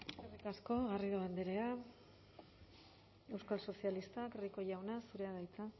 eskerrik asko garrido andrea euskal sozialistak rico jauna zurea da hitza